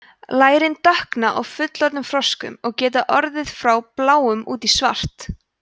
lærin dökkna á fullorðnum froskum og geta orðið frá bláum út í svart